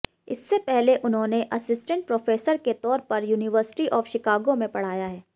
इससे पहले उन्होंने असिस्टेंट प्रोफेसर के तौर पर यूनिवर्सिटी ऑफ शिकागो में पढ़ाया है